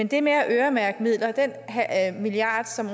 det med at øremærke midler den milliard som